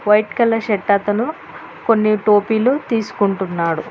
White colour shirt అతను కొన్ని టోపీలు తీసుకుంటున్నాడు.